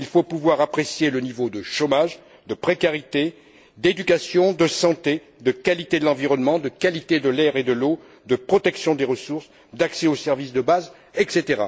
Il faut pouvoir apprécier le niveau de chômage, de précarité, d'éducation, de santé, de qualité de l'environnement, de qualité de l'air et de l'eau, de protection des ressources, d'accès aux services de base, etc.